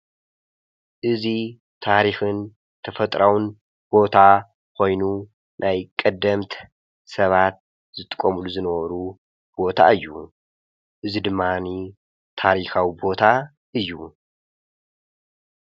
እዙይ ታሪኽን ተፈጥራውን ቦታ ኾይኑ ናይ ቐደምት ሰባት ዝጥቆምሉ ዝነበሩ ቦታ እዩ። እዝ ድማኒ ታሪኻዊ ቦታ እዩ።